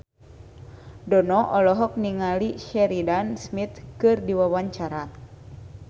Dono olohok ningali Sheridan Smith keur diwawancara